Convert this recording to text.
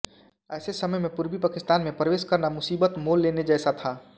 ऐसे समय में पूर्वी पाकिस्तान में प्रवेश करना मुसीबत मोल लेने जैसा था